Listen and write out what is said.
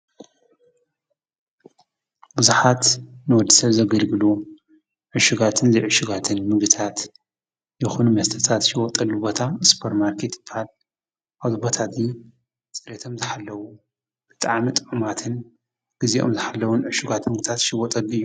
ብዙሓት ንወዲሰብ ዘገልግሉ ዕሹጋትን ዘይዕሹጋትን ምግብታት ይኩን መስተታት ዝሽየጠሉ ቦታ ስፖርማርኬት ይብሃል፡፡ ኣብዚ ቦታ እዚ ፅሬቶም ዝሓለው ብጣዕሚ ጥዑማትን ግዚኦም ዝሓለው ዕሹጋት ምግብታት ዝሽየጠሉ እዩ፡፡